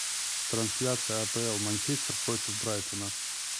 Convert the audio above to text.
трансляция апл манчестер против брайтона